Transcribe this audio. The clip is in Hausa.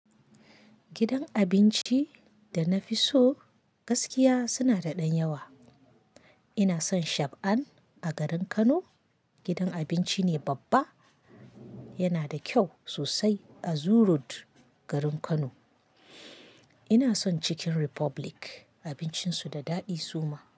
Gidan abinci da na fi so gaskiya suna da ɗan yawa. Ina son Shab'ann a garin Kano, gidan abinci ne babba yana da kyau sosai a Zoo road garin Kano. Ina son Chicken Republic abincinsu da daɗi suma.